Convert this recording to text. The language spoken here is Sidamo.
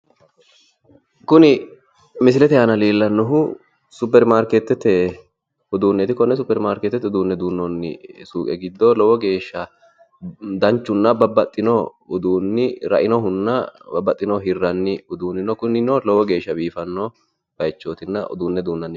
kuni misilete aana leellannohu superimaarkeetete uduunneeti konne superimaarkeetete duunnoonni suuqe giddo danchunna lowo geeshsha babaxino uduunni rainohu babaxino hirranni uduunni no kunino lowo geeshsha biifannonna uduunne duunnanni bayiichooti.